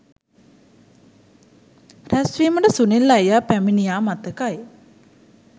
රැස්වීමට සුනිල් අයියා පැමිණියා මතකයි